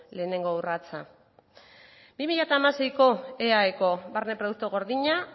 lehengo urratsa bi mila hamaseiko eaeko barne produktu gordina